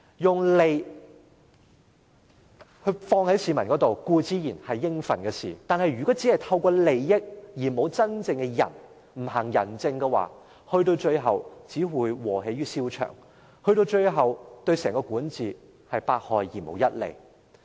將利益放予市民身上，固然是應該做的事，但如果只是透過利益而沒有真正的仁，不行仁政的話，最後只會"禍源於蕭牆"，最終對整個管治是百害而無一利。